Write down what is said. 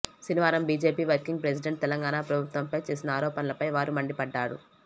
శనివారం BJP working president Telangana ప్రభుత్వంపై చేసిన ఆరోపణలపై వారు మండిపడ్డారు